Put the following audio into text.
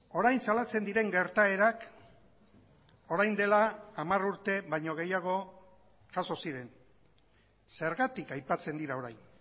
orain salatzen diren gertaerak orain dela hamar urte baino gehiago jaso ziren zergatik aipatzen dira orain